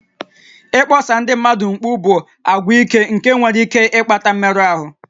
Ịkpọsa ndị mmadụ mkpu bụ àgwà ike nke nwere ike ịkpata mmerụ ahụ